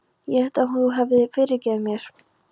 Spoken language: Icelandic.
Ég hélt að þú hefðir fyrirgefið mér.